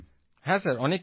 প্রদীপজি হ্যাঁ স্যার